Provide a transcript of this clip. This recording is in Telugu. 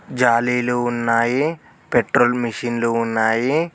జాలీలు ఉన్నాయి పెట్రోల్ మెషిన్లు ఉన్నాయి.